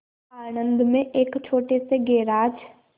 आणंद में एक छोटे से गैराज